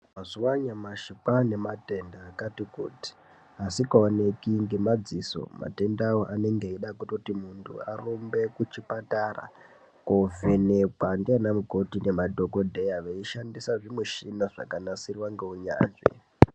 Mazuva anyamashi kwava nematenda akati kuti, asikaoneki ngemadziso. Matenda aya anenge eida kutoti muntu arumbe kuchipatara kovhenekwa ndianamukoti ngemadhokodheya veishandisa zvimushina zvakanasirwa ngeunyanzvi.